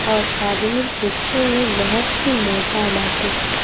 और आदमी देखे में बहुत ही मोटा बाटे।